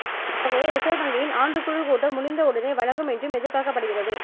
இத்தொகையை reserve வங்கியின் ஆண்டுக்குழு கூட்டம் முடிந்த உடனே வழங்கும் என்றும் எதிர்பார்க்கப்படுகிறது